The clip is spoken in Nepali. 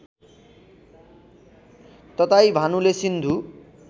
तताई भानुले सिन्धु